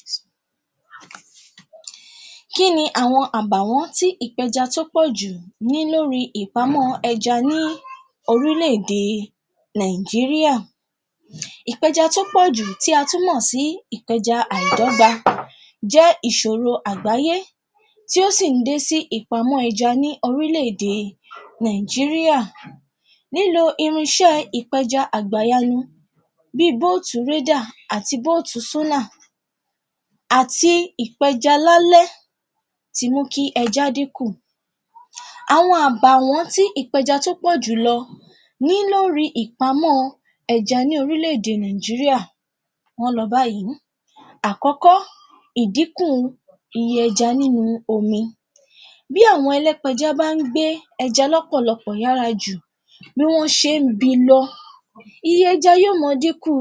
Um, kí ni àwọn àbàwọ́n tí ìpẹja tí ó pọ̀jù ní lórí ìpamọ́ ẹja ní orílè-èdè nàíjíríà, ìpẹja tó pọ̀jù tí a tún mọ̀ sí ìpẹja àídógba jẹ́ ìsòro àgbáyé tó sì dé sí ìpamọ́ ẹja ní orílè-èdè nàíjíríà nílo irinsé ìpẹja àgbàyanu bí bótù rédà, bótù sólà àti ìpẹja lálẹ́ ti mú kí ẹja dínkù. Àwọn àbàwón tí ìpẹja tí ó pọ̀ jùlọ ní lórí ìpamọ́ ẹja ní oríle-èdè nàíjíríà wọ́n lọ báyìí. Àkọ́kọ́, ìdínkù iye ẹja nínú omi, bí àwọn ẹlẹ́pẹja bá gbé ẹja lọ́pọ̀lọpọ̀ yára jù bi lọ, iye ẹja yóò mọ dínku.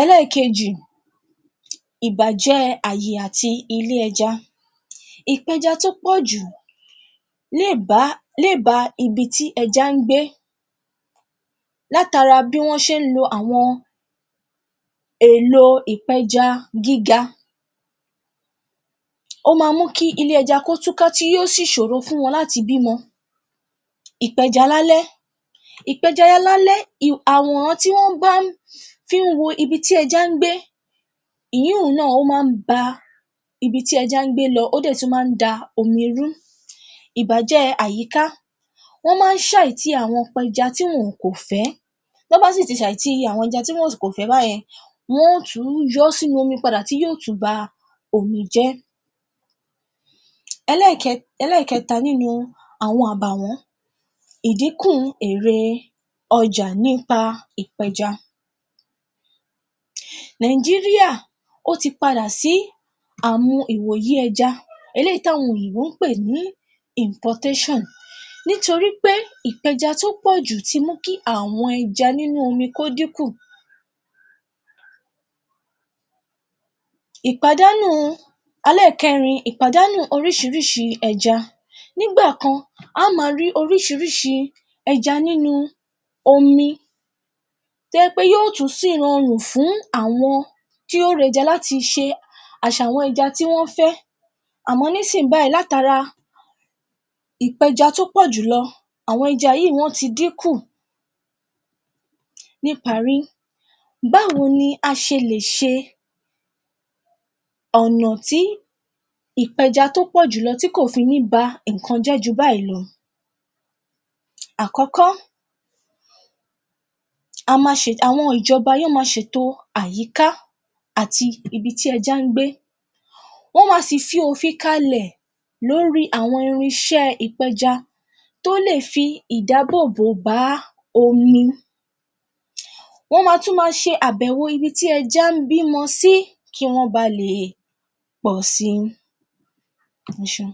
Ẹlẹ́kejì, ìbàjẹ́ àti àyè ilé ẹja, ìpẹja tó pọ̀jù lè bá, lè ba ibi tí ẹja gbé látara bí wọ́n ṣé lo àwọn èlò ìpẹja gíga. Ó má mú kí ilé ẹja kí ó tún ká tí yóò sì sòro fún wọn láti bímọ. Ìpẹja lálẹ́. ìpẹja lálẹ́ um àwòrán tí wọ́n bá fí wo ibi tí ẹja gbé ìyínun náà ó má ba bi tí ẹja gbé lọ, ó dẹ̀ tún má da omi rú. ìbàjẹ́ àyíká, wọ́n má sàìtí àwọn apẹja tí wọn kò fẹ́, tí wọ́n bá sí ti sàìtí àwọn ẹja tí wọn kò fẹ́ báyen, wọ́n tún yọọ́ sínú omi padà tí yó tún ba omi jẹ́. Ẹlẹ́kẹta nínú àwọn àbàwọ́n ìdíkù èrè ọjà nípa ìpẹja, nàíjíríà ó ti padà sí àmọ ìwòyí ẹja, eléyí tí àwọn òyìnbó pè ní um, nítorí pé ìpẹja tó pọ̀jù ti mú kí àwọn ẹja nínú omi kó díkù. Ìpàdánù, ẹlẹ́kẹrin ìpàdánù orísírísí ẹja nígbàkan á ma rí orísírísí ẹja nínú omi tó jẹ́ pé yó tún sírorùn fún àwọn tí yóò ra ẹja láti ṣe àsàwọ̀n ẹja tí wọ́n fẹ́, àmọ́ nísìnyí báyìí látara ìpẹja tó pọ̀jù lọ àwọn ẹja yìí wọ́n ti díkù. Ní ìparí, báwo ni a ṣe lè ṣe ọ̀nà tí ìpẹja tó pọ̀ jùlọ tí kò fi ní ba nǹkan jẹ́ ju báyìí lọ. Àkọ́kọ́, a ma, àwọn ìjọba ó ma ṣètò àyíká àti ibi tí ẹja gbé, wọ́n ma sì fi ofìn kalẹ̀ lórí àwọn irinṣé ìpẹja tó lè fi ìdábòbò bá omi, wọ́n máa tún ma ṣe ibi tí ẹja bímọ sí kí wọ́n ba le pọ̀ si um